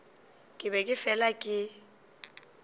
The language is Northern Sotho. ke be ke fela ke